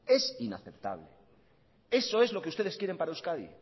es inaceptable eso es lo que ustedes quieren para euskadi